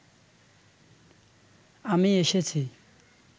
আমি এসেছি